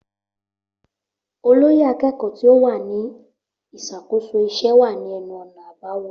Olóyè akẹ́kọ̀ọ́ tí ó wà ní ìṣàkóso iṣẹ́ wà ní ẹnu ọ̀nà àbáwọlé